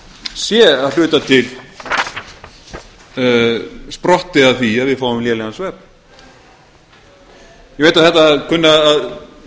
sé að hluta til sprottið af því að við fáum lélegan svefn ég veit að þetta kunna